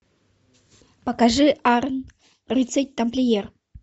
покажи арн рыцарь тамплиер